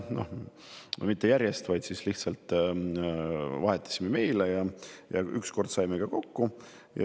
Noh, mitte järjest, aga vahetasime meile ja üks kord saime ka kokku.